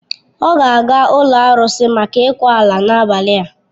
Ọ ga-aga ụlọ arụsị maka ịkwa ala n'abalị a.